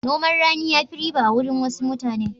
Noman rani ya fi riba a wurin wasu mutanen.